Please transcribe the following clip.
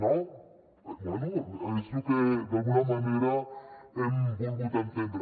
no bé és lo que d’alguna manera hem volgut entendre